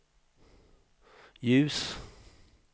ljus